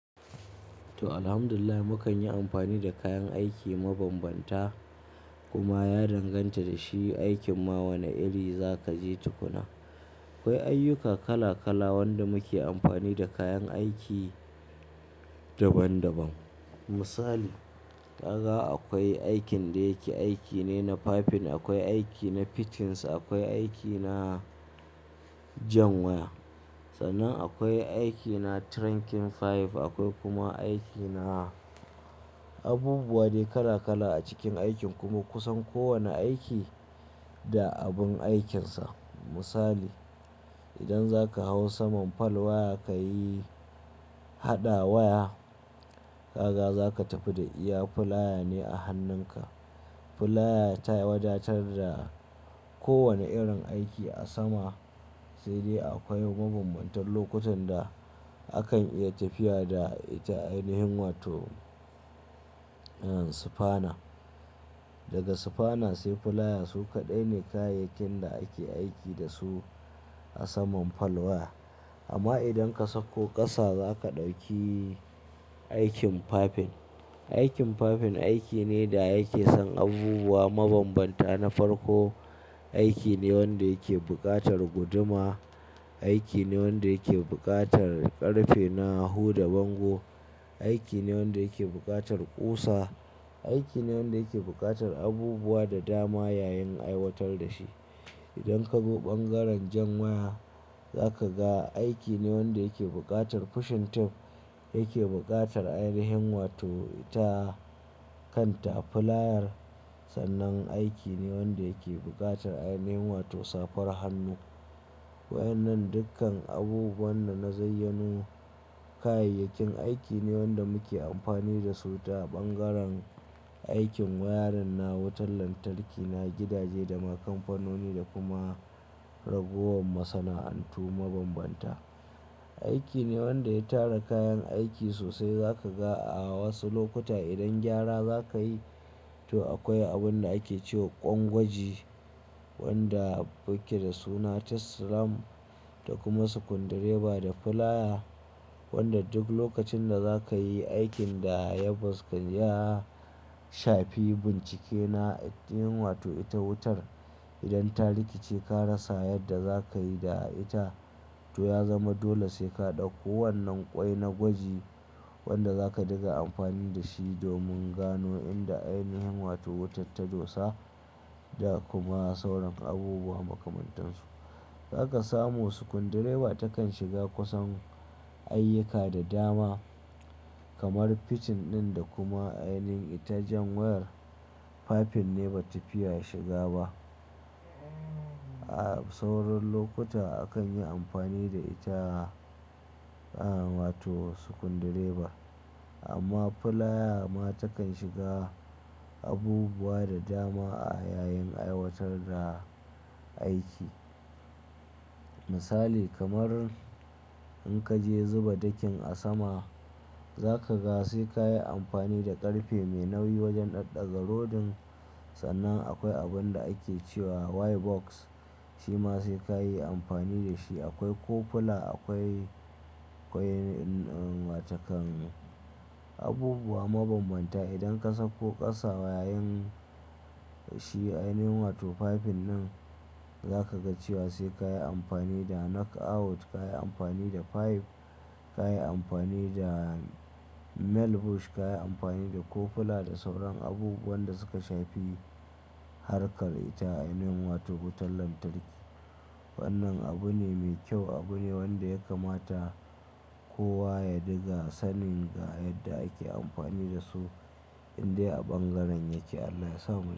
To, Alhamdulillah mu kanyi amfani da kayan aiki mabambanta kuma ya danganta da shi aikin ma wane iri za ka je tukuna. Akwai ayyuka kala kala wanda muke amfani da kayan aiki daban daban. Misali, ƙaga akwai aikin da yake aiki ne na piping, akwai aiki na fittings, akwai aiki na jan waya. Sannan akwai aiki na trunking pipe, akwai kuma aiki na abubuwa dai kala kala a cikin aikin kuma kusan kowane aiki da abun aikinsa. Misali, idan zaka hau saman fal waya ka yi haɗa waya, ƙaga zaka tafi da iya filaya ne a hannunka. Filaya ta wadatar da kowane irin aiki a sama sai dai akwai mabanbantan lokutan da akan iya tafiya da ita ainihin wato sufana. Daga sufana sai filaya su kaɗai ne kayayyakin da ake aiki da su a saman fal waya. Amma idan ka sauko ƙasa zaka ɗauki aikin piping. Aikin piping aiki ne da yake son abubuwa mabambanta na farko. Aiki ne wanda yake buƙatar guduma, aiki ne wanda yake buƙatar ƙarfe na huda bango, aiki ne wanda yake buƙatar ƙusa, aiki ne wanda yake buƙatar abubuwa da dama yayin aiwatar da shi. Idan ka zo bangaren jan waya zaka ga aiki ne wanda yake buƙatar tura tube, yake buƙatar ainihin wato ita kanta filayar, sannan aiki ne wanda yake buƙatar ainihin wato safar hannu. Waɗannan dukkan abubuwan da na zayyanu kayayyakin aiki ne wanda muke amfani da su ta bangaren aikin wayarin na wutar lantarki na gidaje da na kamfanoni da kuma ragowar masana'antu mabambanta. Aiki ne wanda ya tara kayan aiki sosai zaka ga a wasu lokutai idan gyara zakayi to akwai abun da ake cewa ƙwan gwaji wanda yake da suna test lamp da kuma sukundireba da filaya wanda duk lokacin da zakayi aikin da ya shafi bincike na ainihin wato ita wutar idan ta rikice ka rasa yadda za ka yi da ita. To ya zama dole sai ka ɗauko wannan ƙwai na gwaji wanda zaka ɗiga amfani da shi domin gano inda ainihin wato wutar ta dosa da kuma sauran abubuwa makamantan su. Zaka samu sukundireba takan shiga kusan ayyuka da dama kamar fitting ɗin da kuma ainin ita jan wayar piping ne bata fiya shiga ba. A sauran lokuta akan yi amfani da ita wato sukundireba amma filaya ma takan shiga abubuwa da dama a yayin aiwatar da aiki. Misali kamar in kaje zuba ɗakin a sama zaka ga sai kayi amfani da ƙarfe mai nauyi wajen ɗaɗaga rodin sannan akwai abun da ake cewa Y box shi ma sai kayi amfani da shi. Akwai coupler, akwai, akwai wato kan abubuwa mabambanta. Idan ka sauko ƙasa yayin shi ainihin wato piping nan zaka ga cewa sai kayi amfani da knock out, kayi amfani da pipe, kayi amfani da male bush, kayi amfani da coupler da sauran abubuwan da suka shafi harkar ita ainihin wato wutar lantarki. Wannan abu ne mai kyau, abu ne wanda ya kamata kowa ya ɗiga sanin ga yadda ake amfani da su indai a bangaren yake. Allah ya san.